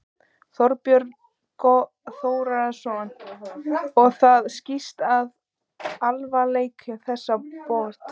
Þorbjörn Þórðarson: Og það skýrist af alvarleika þessara brota?